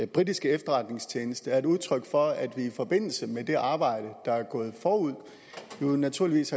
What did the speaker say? britiske efterretningstjeneste er et udtryk for at vi i forbindelse med det arbejde der er gået forud naturligvis